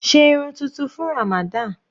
Sé irun tuntun fún Ramadan.